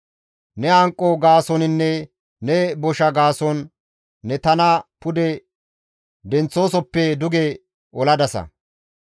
Ne hanqo gaasoninne ne bosha gaason ne tana pude denththoosoppe duge oladasa.